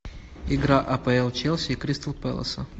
игра апл челси и кристал пэласа